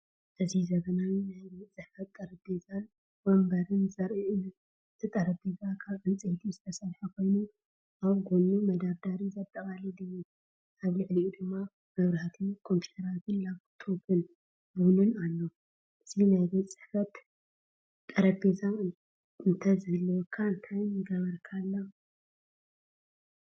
እዚ ዘመናዊ ናይ ቤት ጽሕፈት ጠረጴዛን መንበርን ዘርኢ እዩ። እቲ ጠረጴዛ ካብ ዕንጨይቲ ዝተሰርሐ ኮይኑ ኣብ ጎድኑ መደርደሪ ዘጠቓልል እዩ። ኣብ ልዕሊኡ ድማ መብራህቲ፡ ኮምፒተር ላፕቶፕን ቡንን ኣሎ። እዚ ናይ ቤት ጽሕፈት ጠረጴዛ እንተዝህልወካ እንታይ ምገበርካሉ?